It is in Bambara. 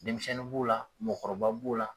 Denmisɛnnin b'u la mɔgɔkɔrɔba b'o la